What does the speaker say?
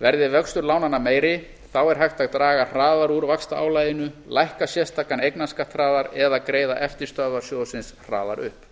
verði vöxtur lánanna meiri þá er hægt að draga hraðar úr vaxtaálaginu lækka sérstakan eignarskatt hraðar eða greiða eftirstöðvar sjóðsins hraðar upp